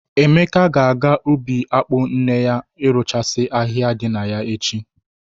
Emeka ga-aga ubi akpụ nne ya irụchasị ahịhịa dị na ya echi.